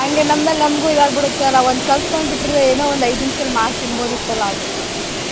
ಹಂಗೆ ನಮ್ಮೇಲ್ ನಮ್ಗು ಇದಾಗ್ ಬಿಡುತ್ತೆ ಅಲ್ಲ ಒಂದ್ ಕಲ್ತ್ಕೊಂಡ್ ಬಿಟ್ಟಿದ್ರೆ ಏನೋ ಒಂದ್ ಐದ್ ನಿಮಿಷದಲ್ಲಿ ಮಾಡ್ ತಿನ್ಬೋದಿತ್ತಲ್ಲ ಅಂತ.